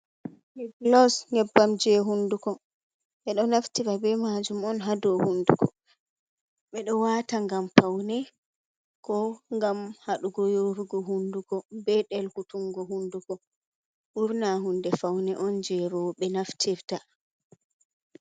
Blos nebbam je hunduko, ɓe do naftira be majum on ha do hunduko ɓeɗo wata ngam faune ko ngam hadugo yorugo hunduko be delkutungo hunduko wurna hunde faune on je roɓe naftirta.